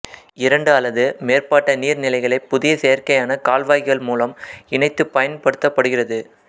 இரண்டு அல்லது மேற்பட்ட நீர்நிலைகளைப் புதிய செயற்கையான கால்வாய்கள் மூலம் இணைத்துப் பயன்படுத்தப்படுகிறது